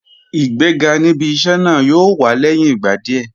Ìgbéga níbi iṣẹ́ náà yóò wá lẹ́yìn ìgbà díẹ̀